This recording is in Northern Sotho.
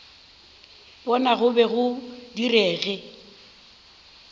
bona go be go direge